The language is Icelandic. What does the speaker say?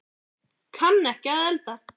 Kann ekki að elda